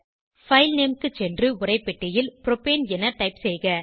file name க்கு சென்று உரைப்பெட்டியில் புரோப்பேன் என டைப் செய்க